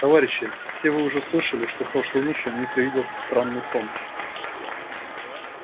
товарищи все вы уже слышали что прошлой ночью мне привиделся странный сон